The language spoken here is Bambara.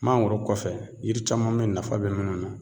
Mangoro kɔfɛ yiri caman bɛ nafa bɛ minnu na.